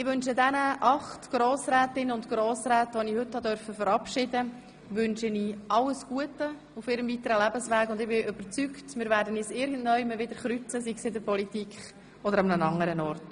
Ich wünsche den acht Grossrätinnen und Grossräten, die ich heute verabschieden durfte, alles Gute auf ihrem weiteren Lebensweg und bin überzeugt, dass sich unsere Wege wieder kreuzen werden, sei es in der Politik oder anderswo.